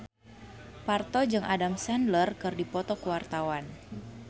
Parto jeung Adam Sandler keur dipoto ku wartawan